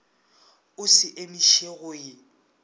o se emiše go e